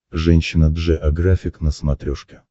женщина джеографик на смотрешке